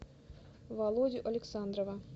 володю александрова